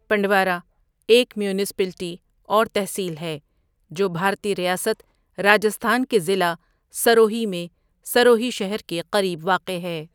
پنڈوارہ ایک میونسپلٹی اور تحصیل ہے جو بھارتی ریاست راجستھان کے ضلع سروہی میں سروہی شہر کے قریب واقع ہے۔